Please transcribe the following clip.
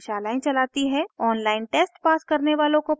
online test pass करने वालों को प्रमाणपत्र देते हैं